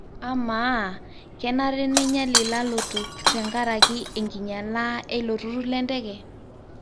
Ama, kenare neinyial ilalotok tengaraki enkinyiala eilo turur lenteke?